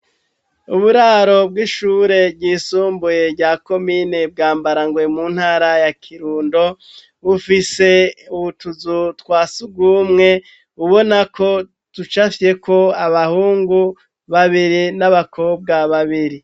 Uburaro bw'ishure ryisumbuye rya komine bwa mbarango mu ntara ya kirundo bufise uwutuzu twasugumwe bubona ko tuca afyeko abahungu babiri n'abakobwa babiri.